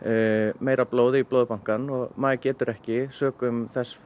meira blóði í Blóðbankann og maður getur ekki sökum þess